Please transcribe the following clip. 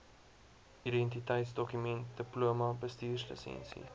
identiteitsdokument diploma bestuurslisensie